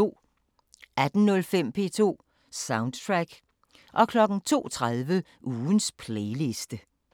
18:05: P2 Soundtrack 02:30: Ugens playliste